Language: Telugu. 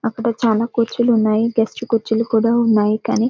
అక్కడ చాలా కుర్చీలు ఉన్నాయి గెస్ట్లు కుర్చీలు కూడా ఉన్నాయి కానీ--